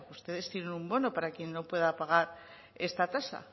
ustedes tienen un bono para quien no pueda pagar esta tasa